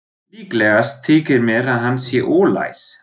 Líklegast þykir mér, að hann sé ólæs.